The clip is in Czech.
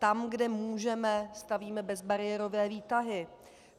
Tam, kde můžeme, stavíme bezbariérové výtahy.